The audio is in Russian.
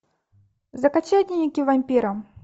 закачай дневники вампира